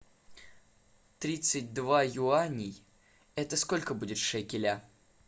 тридцать два юаней это сколько будет шекеля